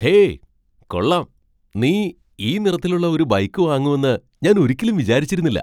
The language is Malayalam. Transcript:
ഹേയ്, കൊള്ളാം! നീ ഈ നിറത്തിലുള്ള ഒരു ബൈക്ക് വാങ്ങുമെന്ന് ഞാൻ ഒരിക്കലും വിചാരിച്ചിരുന്നില്ല.